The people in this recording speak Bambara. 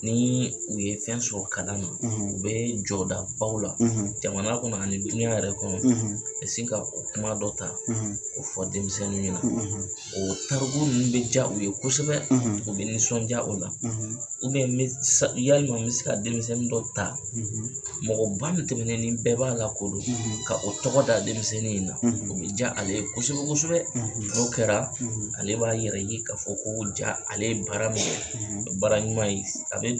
N'i u ye fɛn sɔrɔ kalan na, , u be jɔda baw la, , jamana kɔnɔ ani diɲɛ yɛrɛ kɔnɔ, , ka sin ka o kuma dɔ ta ,, ko fɔ denmisɛnninw ɲɛna, ,o tariku ninnu bɛ diya u ye kosɛbɛ, , u bɛ nisɔndiya o la, , n be yalima n bɛ se ka denmisɛnnin dɔ ta, , mɔgɔba min tɛmɛnen ni bɛɛ b'a lakodɔn, , ka o tɔgɔ da denmisɛnnin in na, u bɛ diya ale kosɛbɛ kosɛbɛ, , n'o kɛra, , ale b'a yɛrɛ ye ka fɔ ko jaa ale bara min kɛ, ,baara ɲuman ye, a be